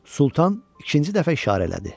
Sultan ikinci dəfə işarələdi.